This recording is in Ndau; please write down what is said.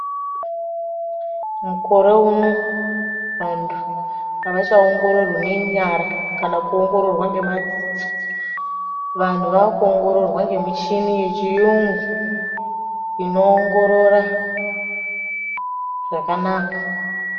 Mukore uno vantu hawachaongororwi ngenyara kana kuongororwa ngemadziso vanhu vakuongororwa nemichini yechiyungu inoongorora zvakanaka.